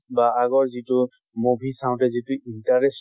বা আগৰ যিটো movie চাওতে যিটো interest